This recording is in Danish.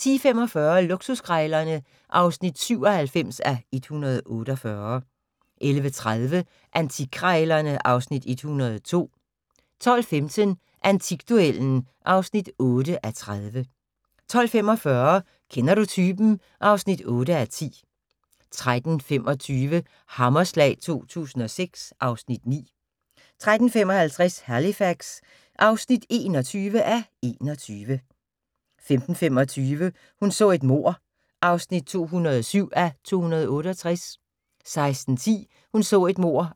10:45: Luksuskrejlerne (97:148) 11:30: Antikkrejlerne (Afs. 102) 12:15: Antikduellen (8:30) 12:45: Kender du typen? (8:10) 13:25: Hammerslag 2006 (Afs. 9) 13:55: Halifax (21:21) 15:25: Hun så et mord (207:268) 16:10: Hun så et mord